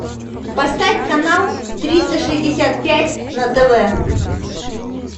поставь канал триста шестьдесят пять на тв